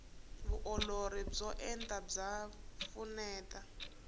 vuolori byo enta bya pfuneta